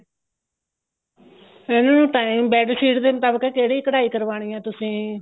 ਇਹਨੂੰ time bed sheet ਦੇ ਮੁਤਾਬਿਕ ਕਿਹੜੀ ਕਢਾਈ ਕਰਵਾਣੀ ਹੈ ਤੁਸੀਂ